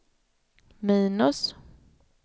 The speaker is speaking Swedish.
minus